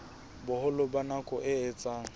boholo ba nako e etsang